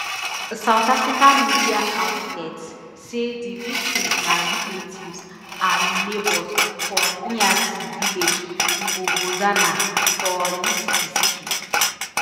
south african media outlets say di victims na relatives and neighbours for nyathi village ngobozana for lusikisiki